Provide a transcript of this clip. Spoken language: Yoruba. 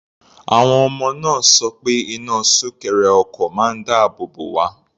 Àwọn ọmọ náà sọ pé iná súnkẹrẹ ọkọ̀ máa ń dáàbò bò wá.